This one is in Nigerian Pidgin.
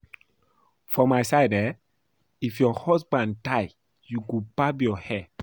For my side eh, If your husband die you go barb your hair